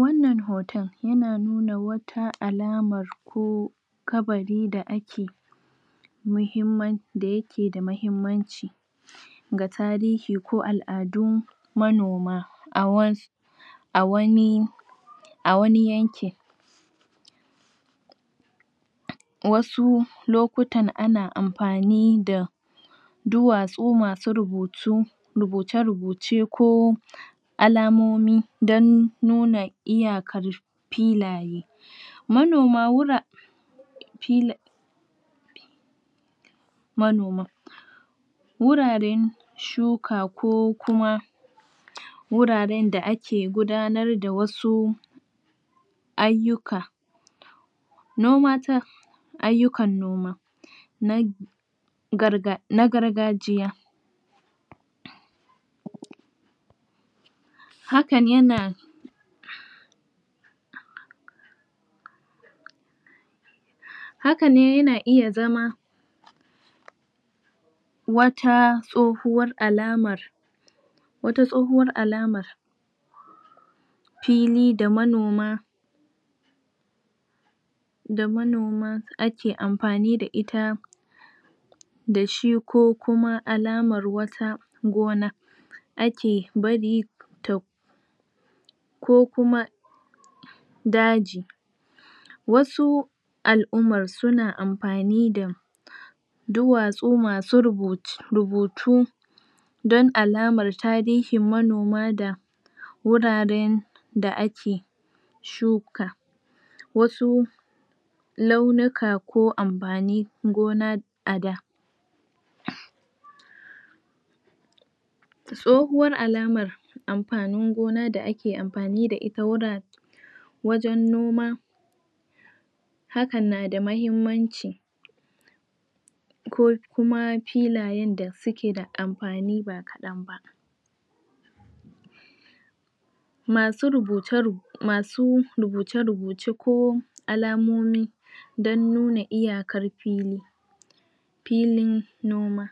wannan hoton yana nuna wata alaman ko kabari da ake mahimman da yake da mahimmanci ga tarihi ko al'adu manoma a wa a wani a wani yankin wasu lokutan ana amfani da duwatsu masu rubutu rubuce rubuce ko alamomi don nuna iyakar filaye manoma wura filin manoman wurare shuka ko kuma wuraren da ake gudanar da wasu ayyuka noma ta ayyukan noma na garga na gargajiya hakan yana hakan yana iya zama wata tsohuwar alama wata tsohuwar alaman fili da manoma da manoma ake amfani da ita da shi ko kuma alamar wata gona ake bari ta ko kuma daji wasu alumman suna amfani da duwatsu masu rubuce rubutu don alama tarihin manoma da wuraren da ake shuka wasu ko amfanin gona a da tsohuwar alama amfanin gona da ake amfani da ita wura wajen noma hakan na da mahimmanci ko kuma filayen da suke da amfani da masu rubuce masu rubuce rubuce ko alamomi don nuna iyakar fili filin noma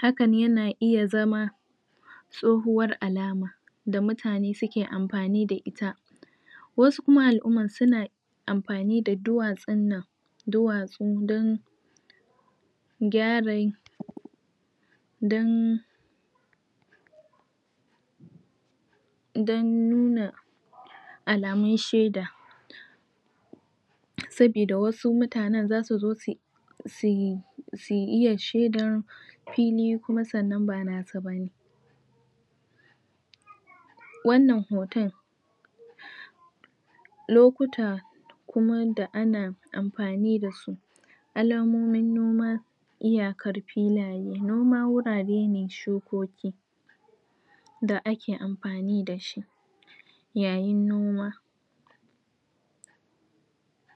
hakan yana iya zama tsohuwar alama da mutane suke amfani da ita wasu kuma alumman suna amfani da duwatsun nan duwatsun don gyara don don nuna alamun sheda sabida wasu mutanen za su zo zu su su iya sheda fili sannan kuma ba nasu bane wannnan hoton lokuta kuma da ana amfani da su alamomin noma iyakar filaye noma wurare ne shukoki da ake amfani da shi yayin noma